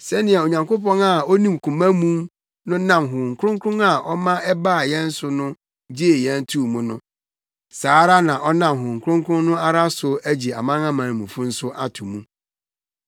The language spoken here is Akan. Sɛnea Onyankopɔn a onim koma mu no nam Honhom Kronkron a ɔma ɛbaa yɛn mu no so gyee yɛn too mu no, saa ara na ɔnam Honhom Kronkron no ara so agye amanamanmufo nso ato mu.